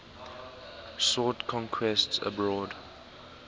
sought conquests abroad